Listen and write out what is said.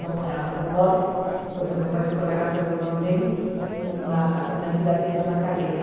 Nós morávamos no norte, então meu pai ficou na casa do irmão dele, uma uma cidade que se chama Calera.